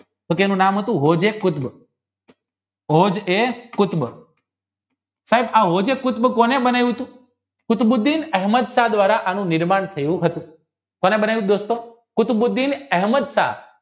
તો તેનું નામ હતું વલભીકુત્ર કોઢ એ કુતુબ સાહેબ આ કોને બતાવ્યું હતું કુતબુદ્ધિ અહેમદશાહ દ્વારાઆનું નિર્માણ થયું હતું કોને બનાવ્યું કુતબુદ્ધિ અહેમદશાહ